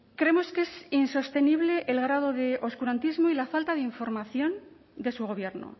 creemos que es insostenible el grado de oscurantismo y la falta de información de su gobierno